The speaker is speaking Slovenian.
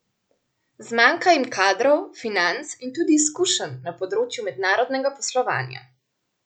Zmanjka jim kadrov, financ in tudi izkušenj na področju mednarodnega poslovanja.